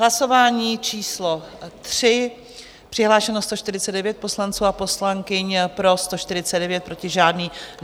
Hlasování číslo 3, přihlášeno 149 poslanců a poslankyň, pro 149, proti žádný.